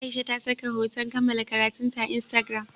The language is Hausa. Aisha ta saka hoton kammala karatunta a Instagram.